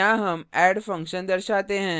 यहाँ हम add function दर्शाते हैं